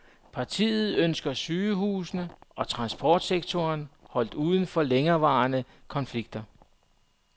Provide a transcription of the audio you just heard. Partiet ønsker sygehusene og transportsektoren holdt uden for længerevarende konflikter.